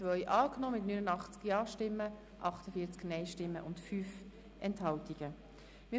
Sie haben die Ziffer 2 mit 89 Ja-, 48 Nein-Stimmen bei 5 Enthaltungen angenommen.